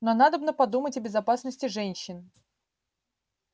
но надобно подумать о безопасности женщин